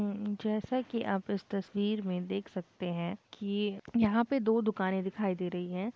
जैसा कि आप इस तस्वीर में देख सकते है कि यहां पे दो दुकानें दिखाई दे रही है।